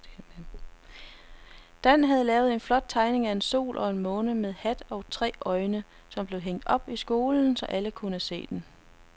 Dan havde lavet en flot tegning af en sol og en måne med hat og tre øjne, som blev hængt op i skolen, så alle kunne se den.